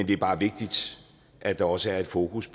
det bare er vigtigt at der også er et fokus